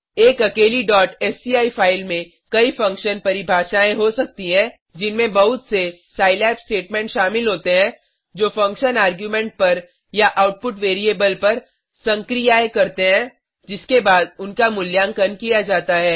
एक अकेली sci file में कई फंक्शन परिभाषायें हो सकती हैं जिनमें बहुत से सिलाब स्टेटमेंट शामिल होते हैं जो फंक्शन आर्ग्युमेंट पर या आउटपुट वैरिएबल पर संक्रियाएं करते हैं जिसके बाद उनका मूल्यांकन किया जाता है